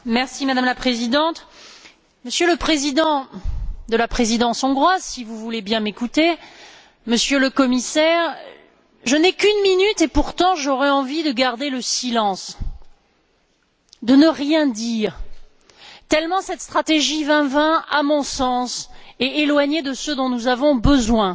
Madame la Présidente, Monsieur le Président de la Présidence hongroise, si vous voulez bien m'écouter, Monsieur le Commissaire, je n'ai qu'une minute et pourtant, j'aurais envie de garder le silence, de ne rien dire, tellement cette stratégie Europe 2020, à mon sens, est éloignée de ce dont nous avons besoin.